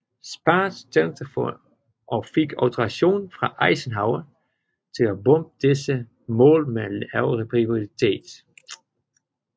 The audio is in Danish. Spaatz talte for og fik autorisation fra Eisenhower til at bombe disse mål med en lavere prioritet